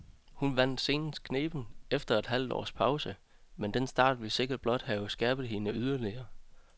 Hun vandt senest knebent efter et halvt års pause, men den start vil sikkert blot have skærpet hende yderligere.